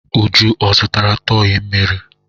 Uju ò zụtara tọị mmiri?